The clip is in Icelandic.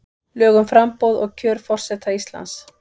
Lög um framboð og kjör forseta Íslands.